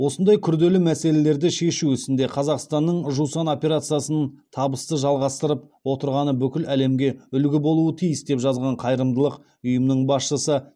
осындай күрделі мәселелерді шешу ісінде қазақстанның жусан операциясын табысты жалғастырып отырғаны бүкіл әлемге үлгі болуы тиіс деп жазған қайырымдылық ұйымының басшысы